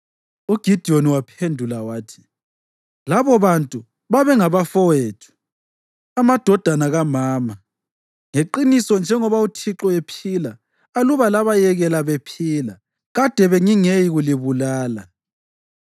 UGidiyoni waphendula wathi, “Labobantu babengabafowethu, amadodana kamama. Ngeqiniso njengoba uThixo ephila, aluba labayekela bephila, kade bengingeyikulibulala.”